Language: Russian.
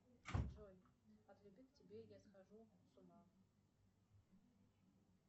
джой от любви к тебе я схожу с ума